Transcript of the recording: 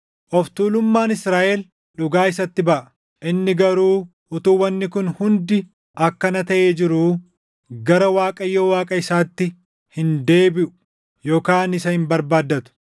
Of tuulummaan Israaʼel dhugaa isatti baʼa; inni garuu utuu wanni kun hundi akkana taʼee jiruu, gara Waaqayyo Waaqa isaatti hin deebiʼu yookaan isa hin barbaaddatu.